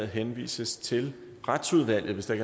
henvises til retsudvalget hvis der